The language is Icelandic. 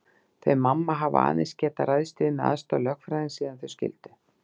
Þau mamma hafa aðeins getað ræðst við með aðstoð lögfræðings síðan þau skildu.